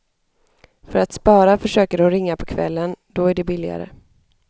För att spara försöker hon ringa på kvällen, då det är billigare.